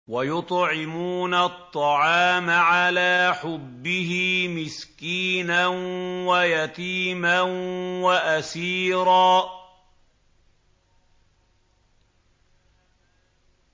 وَيُطْعِمُونَ الطَّعَامَ عَلَىٰ حُبِّهِ مِسْكِينًا وَيَتِيمًا وَأَسِيرًا